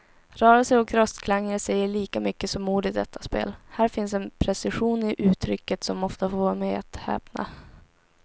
Rörelser och röstklanger säger lika mycket som ord i detta spel, här finns en precision i uttrycket som ofta får mig att häpna.